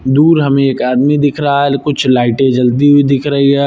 दूर हमें एक आदमी दिख रहा है कुछ लाइटें जलती हुई दिख रही है।